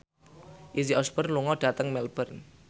Izzy Osborne lunga dhateng Melbourne